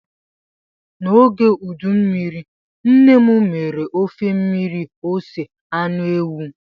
N'oge udu mmiri, nne m mere ofe mmiri ose anụ ewu.